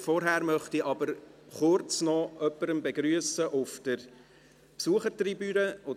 Vorher möchte ich aber noch kurz jemanden auf der Besuchertribüne begrüssen.